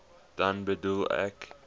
dan bedoel ek